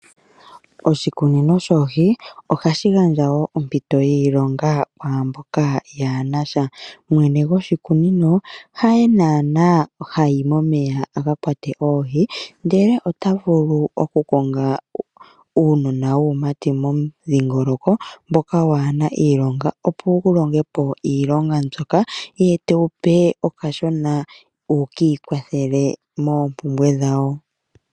Oshikunino shoohi ohashi gandja woo oompito dhiilonga kaantu mboka kaaye na iilonga. Mwene goshulikunino haye ha yi momeya akakwate oohi, oha kongo uunona waamati momudhingoloko mboka waa hena iilonga opo wulonge po iilonga mbyoka ye tewu pe kashona wukiikwathele moompumbwe dhawo.